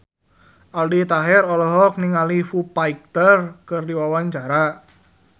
Aldi Taher olohok ningali Foo Fighter keur diwawancara